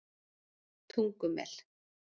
Tungumel